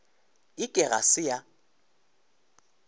e ke ga se ya